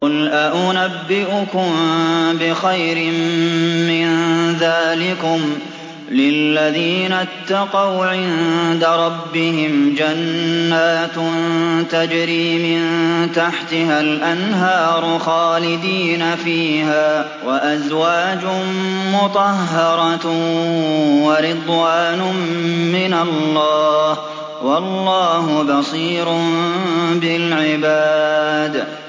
۞ قُلْ أَؤُنَبِّئُكُم بِخَيْرٍ مِّن ذَٰلِكُمْ ۚ لِلَّذِينَ اتَّقَوْا عِندَ رَبِّهِمْ جَنَّاتٌ تَجْرِي مِن تَحْتِهَا الْأَنْهَارُ خَالِدِينَ فِيهَا وَأَزْوَاجٌ مُّطَهَّرَةٌ وَرِضْوَانٌ مِّنَ اللَّهِ ۗ وَاللَّهُ بَصِيرٌ بِالْعِبَادِ